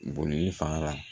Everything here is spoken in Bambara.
Boli fanga